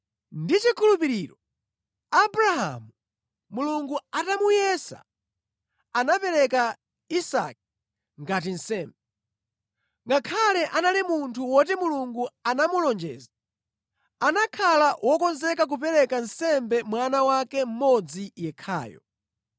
Ndi chikhulupiriro Abrahamu, Mulungu atamuyesa, anapereka Isake ngati nsembe. Ngakhale anali munthu woti Mulungu anamulonjeza, anakhala wokonzeka kupereka nsembe mwana wake mmodzi yekhayo.